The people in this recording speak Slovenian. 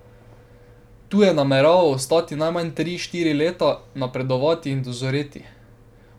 Tu je nameraval ostati najmanj tri, štiri leta, napredovati in dozoreti.